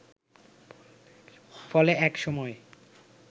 ফলে এক সময়